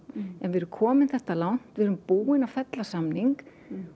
en við erum komin þetta langt við erum búin að fella fyrri samning